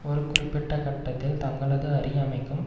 ஒரு குறிப்பிட்ட கட்டத்தில் தங்களது அறியாமைக்கும்